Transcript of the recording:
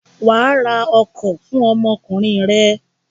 Wà á ra ọkọ̀ fún ọmọkùnrin rẹ!